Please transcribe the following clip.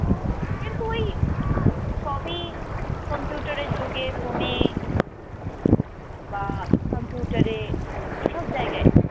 কিন্তু অই সবই কম্পিউটারের যুগে, ফোনে বা কম্পিউটারে এসব জায়গায়।